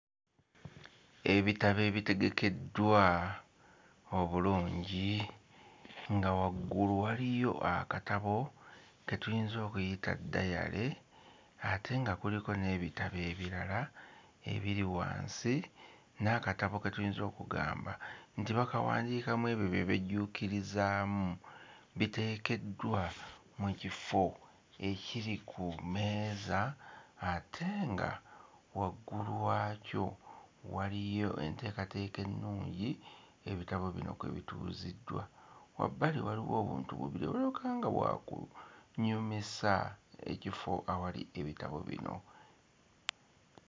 Ebitabo ebitegekeddwa obulungi nga waggulu waliyo akatabo ke tuyinza okuyita diary ate nga kuliko n'ebitabo ebirala ebiri wansi n'akatabo ke tuyinza okugamba nti bakawandiikamu ebyo bye bejjuukirizaamu biteekeddwa mu kifo ekiri ku mmeeza ate nga waggulu waakyo waliyo enteekateeka ennungi ebitabo bino kwe bituuziddwa wabbali waliwo obuntu bubiri obulabika nga bwa kunyumisa ekifo awali ebitabo bino.